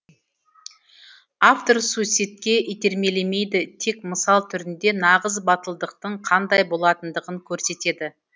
автор суицидке итермелемейді тек мысал түрінде нағыз батылдықтың қандай болатындығын көрсетеді